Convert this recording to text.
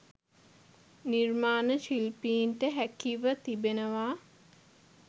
නිර්මාණ ශිල්පීන්ට හැකිව තිබෙනවා